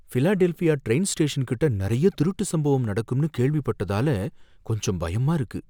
Philadelphia train station கிட்ட நறைய திருட்டு சம்பவம் நடக்கும்னு கேள்விப்பட்டதால கொஞ்சம் பயமா இருக்கு